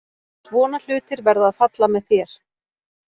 Svona hlutir verða að falla með þér.